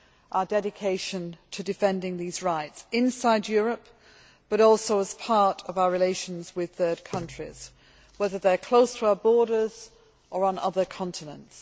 our dedication to defending these rights inside Europe, but also as part of our relations with third countries, whether they are close to our borders or on other continents.